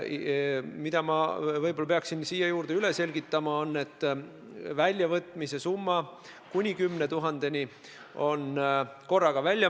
Võib-olla ma peaksin siin üle selgitama, et väljavõtmisel makstakse summa kuni 10 000 eurot korraga välja.